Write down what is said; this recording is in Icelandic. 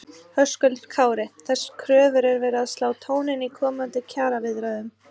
Höskuldur Kári: Þessar kröfur er verið að slá tóninn í komandi kjaraviðræðum?